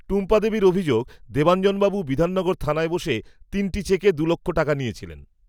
টুম্পাদেবীর অভিযোগ, দেবাঞ্জনবাবু বিধাননগর থানায় বসে, তিনটি চেকে, দুলক্ষ টাকা নিয়েছিলেন